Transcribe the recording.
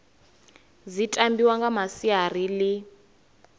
dzi tambiwa nga masiari ḽi